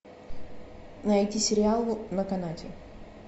найти сериал на канате